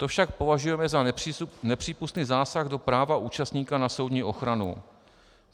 To však považujeme za nepřípustný zásah do práva účastníka na soudní ochranu.